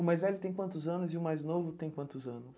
O mais velho tem quantos anos e o mais novo tem quantos anos?